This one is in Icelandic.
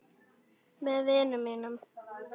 Með vinum mínum.